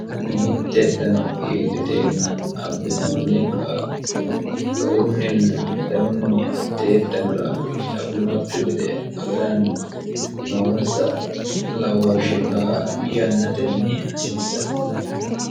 mitte dano hiilliteenna abbinoonni qaaqu garunninna danunni atteettanora qittauyinokku gede agaranna noonsa lawooshshe la yannatenni hasiissanno